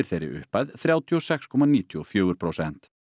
þeirri upphæð þrjátíu og sex komma níutíu og fjögur prósent